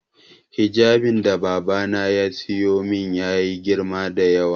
Hijabin da babana ya siyo min ya yi girma da yawa